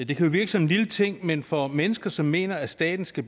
det kan jo virke som en lille ting men for mennesker som mener at staten skal